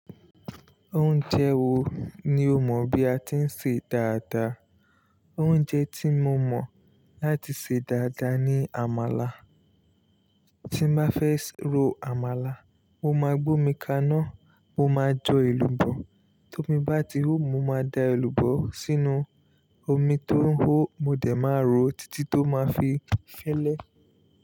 Oúnjẹ wo ni o mọ̀ bí a ti ń sè dáadáa? Oúnjẹ tí mo mọ̀ láti sè dáadáa ni àmàlà. Tí n bá fẹ́ ro àmàlà, mo máa gbómi kaná, mo máa jo èlùbọ́. Tó mi bá ti hò, mo máa da èlùbọ́ sínú omi tó ń hó, mo dẹ̀ máa ro títí tó máa fi fẹ́lẹ́